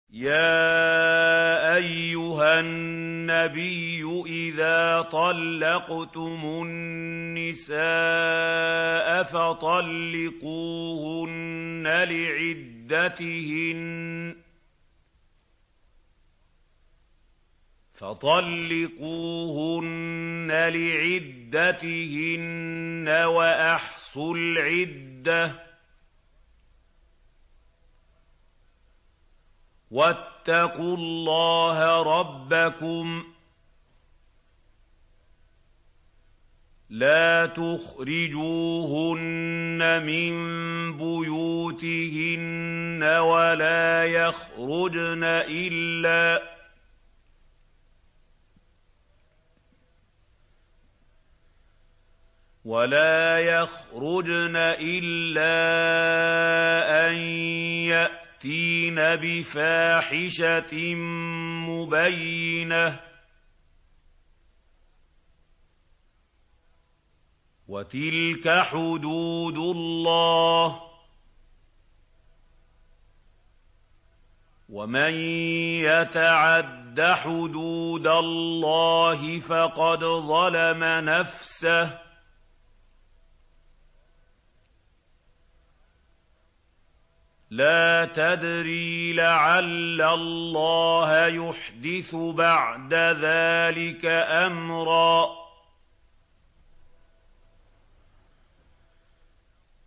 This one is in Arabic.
يَا أَيُّهَا النَّبِيُّ إِذَا طَلَّقْتُمُ النِّسَاءَ فَطَلِّقُوهُنَّ لِعِدَّتِهِنَّ وَأَحْصُوا الْعِدَّةَ ۖ وَاتَّقُوا اللَّهَ رَبَّكُمْ ۖ لَا تُخْرِجُوهُنَّ مِن بُيُوتِهِنَّ وَلَا يَخْرُجْنَ إِلَّا أَن يَأْتِينَ بِفَاحِشَةٍ مُّبَيِّنَةٍ ۚ وَتِلْكَ حُدُودُ اللَّهِ ۚ وَمَن يَتَعَدَّ حُدُودَ اللَّهِ فَقَدْ ظَلَمَ نَفْسَهُ ۚ لَا تَدْرِي لَعَلَّ اللَّهَ يُحْدِثُ بَعْدَ ذَٰلِكَ أَمْرًا